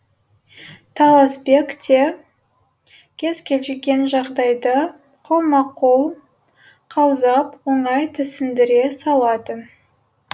таласбек те кез келген жағдайды қолма қол қаузап оңай түсіндіре салатын